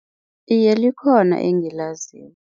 Iye, likhona engilaziko.